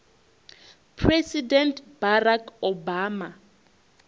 president barack obama